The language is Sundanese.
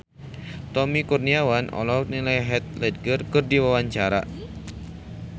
Tommy Kurniawan olohok ningali Heath Ledger keur diwawancara